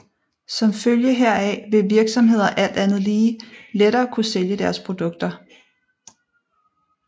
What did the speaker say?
Som følge heraf vil virksomheder alt andet lige lettere kunne sælge deres produkter